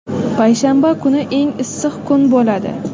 Payshanba kuni eng issiq kun bo‘ladi.